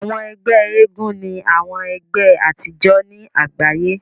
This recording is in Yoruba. Àwọn ẹgbẹ́ eégún ni àwọn ẹgbé àtijọ́ ni àgbáyé.